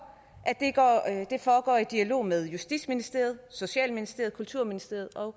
og at det foregår i dialog med justitsministeriet socialministeriet kulturministeriet og